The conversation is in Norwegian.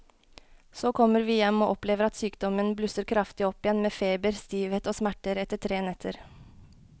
Så kommer vi hjem og opplever at sykdommen blusser kraftig opp igjen med feber, stivhet og smerter etter tre netter.